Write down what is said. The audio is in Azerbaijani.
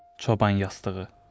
Çoban yastığı.